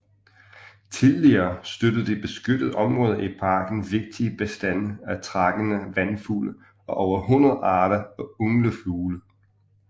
Tidligere støttede de beskyttede områder i parken vigtige bestande af trækkende vandfugle og over 100 arter af ynglefugle